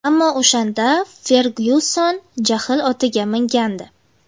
Ammo o‘shanda Fergyuson jahl otiga mingandi.